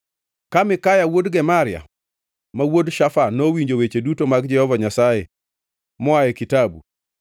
Ka Mikaya wuod Gemaria, ma wuod Shafan, nowinjo weche duto mag Jehova Nyasaye moa e kitabu,